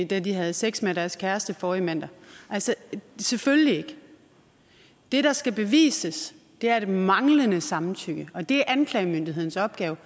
da de havde sex med deres kæreste forrige mandag selvfølgelig ikke det der skal bevises er det manglende samtykke og det er anklagemyndighedens opgave